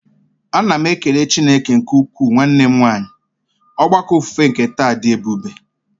A na m ekele Chineke nke ukwuu nwanne m nwanyị, ogbako ofufe nke taa dị ebube.